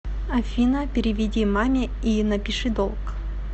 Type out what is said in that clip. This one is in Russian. афина переведи маме и напиши долг